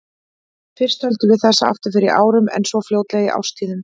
Fyrst töldum við þessa afturför í árum, en svo fljótlega í árstíðum.